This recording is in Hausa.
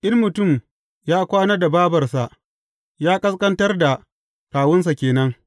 In mutum ya kwana da bābarsa, ya ƙasƙantar da kawunsa ke nan.